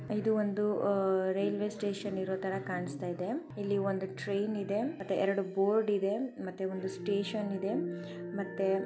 ಇದು ಒಂದು railway station ಇರೂ ತರಹ ಕಾಣಸ್ತಾ ಇದೆ ಇಲ್ಲಿ ಒಂದು ಟ್ರೈನ್ ಇದೆ ಎರೆಡು ಬೋರ್ಡ್ ಇದೆ ಮತ್ತೆ ಒಂದು ಸ್ಟೇಷನ್ ಇದೆ ಮತ್ತೆ.